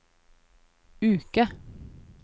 uke